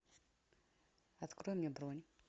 открой мне бронь